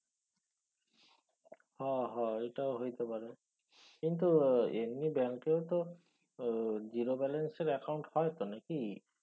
হ হ এটাও হইতে পারে। কিন্তু এমনি ব্যাঙ্কেও তো আহ zero balance এর অ্যাকাউন্ট হয়ত নাকি